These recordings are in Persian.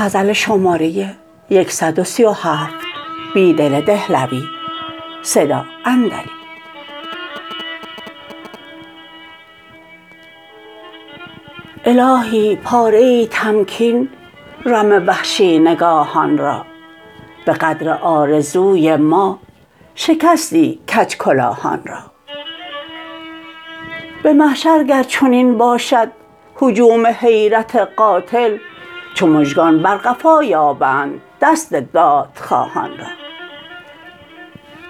الهی پاره ای تمکین رم وحشی نگاهان را به قدر آرزوی ما شکستی کج کلاهان را به محشرگر چنین باشد هجوم حیرت قاتل چو مژگان بر قفا یابند دست دادخواهان را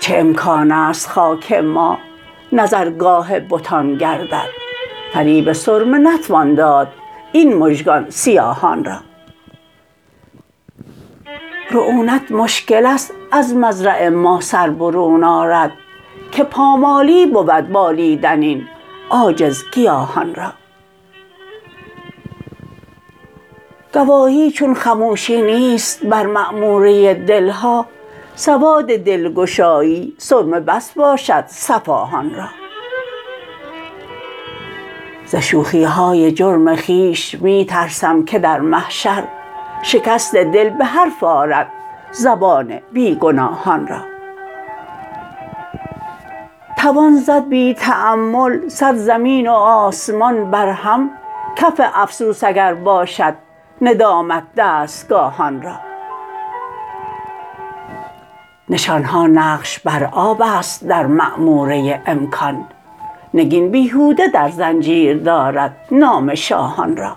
چه امکان است خاک ما نظرگاه بتان گردد فریب سرمه نتوان داداین مژگان سیاهان را رعونت مشکل است از مزرع ما سربرون آرد که پامالی بود بالیدن این عاجزگیاهان را گواهی چون خموشی نیست بر معموره دلها سواد دلگشایی سرمه بس باشد صفاهان را زشوخیهای جرم خویش می ترسم که در محشر شکست دل به حرف آرد زبان بیگناهان را توان زد بی تأمل صد زمین و آسمان برهم کف افسوس اگر باشد ندامت دستگاهان را نشانها نقش بر آب است در معموره امکان نگین بیهوده در زنجیر دارد نام شاهان را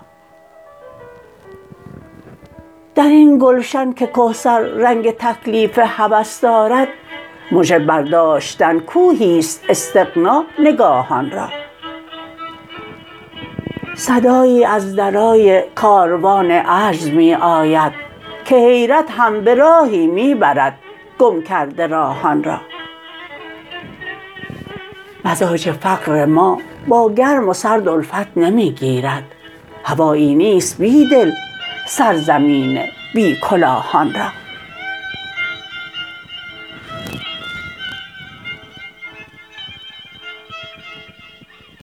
درین گلشن کهکسر رنگ تکلیف هوس دارد مژه برداشتن کوهی است استغنا نگاهان را صدایی از درای کاروان عجز می آید که حیرت هم به راهی می بردگم کرده راهان را مزاج فقر ما باگرم وسرد الفت نمی گیرد هوایی نیست بیدل سرزمین بی کلاهان را